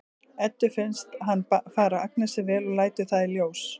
Eddu finnst hann fara Agnesi vel og lætur það í ljós.